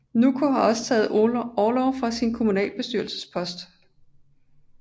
Nûko har også taget orlov fra sin kommunalbestyrelsespost